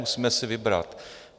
Musíme si vybrat.